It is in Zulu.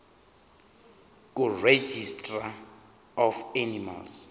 kuregistrar of animals